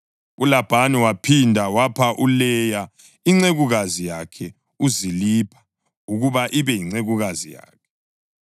ULabhani waphinda wapha uLeya incekukazi yakhe uZilipha ukuba ibe yincekukazi yakhe.